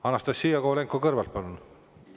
Anastassia Kovalenko-Kõlvart, palun!